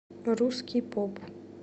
русский поп